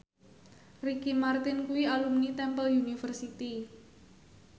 Ricky Martin kuwi alumni Temple University